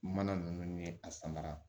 Mana ninnu ye a samara